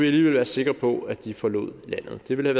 alligevel være sikre på at de forlod landet det ville